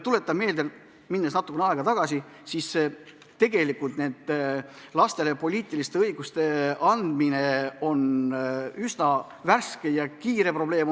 Tuletame meelde, läheme natukene ajas tagasi: lastele poliitiliste õiguste andmine on meil üsna värske probleem.